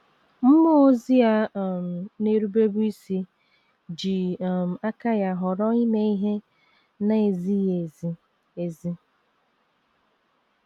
Mmụọ ozi a um na - erubebu isi ji um aka ya họrọ ime ihe na - ezighị ezi. ezi.